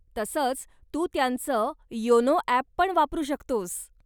तसंच, तू त्यांचं योनो ॲप पण वापरू शकतोस.